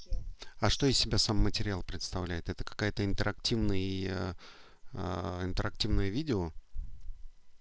а что из себя сам материал представляет это какая-то интерактивный и ээ интерактивное видео